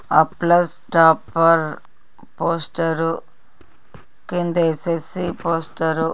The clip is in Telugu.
ఆప్లస్ టాప్పర్ పోస్టర్ కిందేసేసి పోస్టర్--